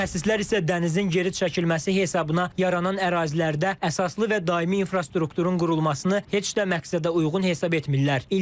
Mütəxəssislər isə dənizin geri çəkilməsi hesabına yaranan ərazilərdə əsaslı və daimi infrastrukturun qurulmasını heç də məqsədə uyğun hesab etmirlər.